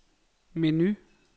menu